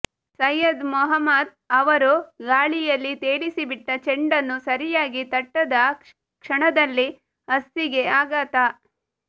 ಸಯ್ಯದ್ ಮೊಹಮ್ಮದ್ ಅವರು ಗಾಳಿಯಲ್ಲಿ ತೇಲಿಸಿಬಿಟ್ಟ ಚೆಂಡನ್ನು ಸರಿಯಾಗಿ ತಟ್ಟದ ಕ್ಷಣದಲ್ಲಿ ಹಸ್ಸಿಗೆ ಆಘಾತ